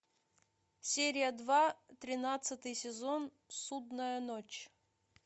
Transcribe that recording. серия два тринадцатый сезон судная ночь